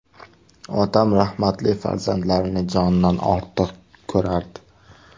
Otam rahmatli farzandlarini jonidan ortiq ko‘rardi.